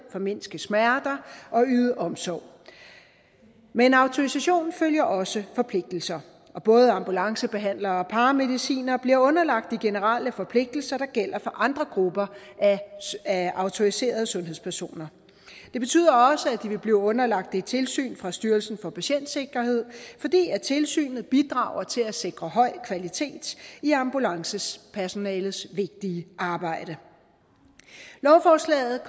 formindske smerter og yde omsorg med en autorisation følger også forpligtelser og både ambulancebehandlere og paramedicinere bliver underlagt de generelle forpligtelser der gælder for andre grupper af autoriserede sundhedspersoner det betyder også at de vil blive underlagt et tilsyn fra styrelsen for patientsikkerhed fordi tilsynet bidrager til at sikre høj kvalitet i ambulancepersonalets vigtige arbejde lovforslaget